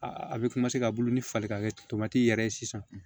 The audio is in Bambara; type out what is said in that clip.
A bɛ ka bulu ni fali ka kɛ yɛrɛ ye sisan